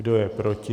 Kdo je proti?